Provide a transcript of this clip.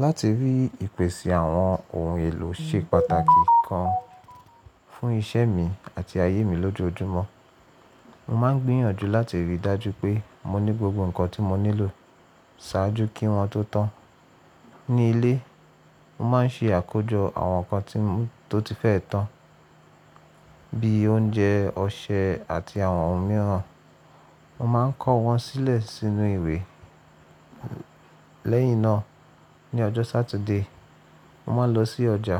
Láti rí ìpèsè àwọn ohun èlò ṣe pàtàkì gan fún iṣẹ́ mi àti ayé mi lójoojúmọ́. Mo máa ń gbìyànjú láti rí i dájú pé mo ní gbogbo nǹkan tí mo nílò ṣáájú kí wọ́n tó tán. Ní ilé, mo máa ń ṣe àkójọ àwọn nǹkan tó ti fẹ́ tán bí i oúnjẹ, ọṣẹ àti àwọn ohun mìíràn. Mo máa ń kọ́ wọn sílẹ̀ sínú ìwé. Lẹ́yìn náà, ní ọjọ́ Saturday, mo máa ń lọ sí ọjà